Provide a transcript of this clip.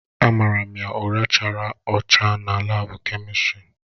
Amara m ya ụra chara acha na laabu kemịkalụ.